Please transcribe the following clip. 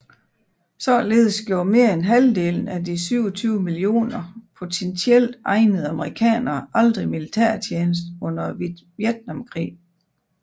Således gjorde mere end halvdelen af de 27 mio potentielt egnede amerikanere aldrig militærtjeneste under Vietnamkrigen